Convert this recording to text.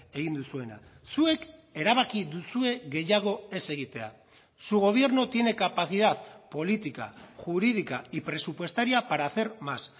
egin duzuena zuek erabaki duzue gehiago ez egitea su gobierno tiene capacidad política jurídica y presupuestaria para hacer más